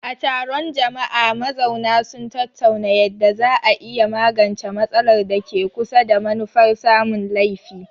A taron jama'a, mazauna sun tattauna yadda za a iya magance matsalar da ke kusa, da manufar samun laifi.